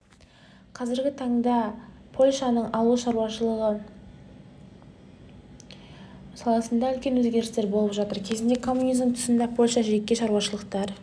қазіргі таңда польшаның ауыл шаруашылығы саласында үлкен өзгерістер болып жатыр кезінде коммунизм тұсында польшада жеке шаруашылықтар